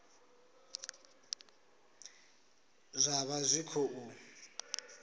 zwa vha zwi tshi khou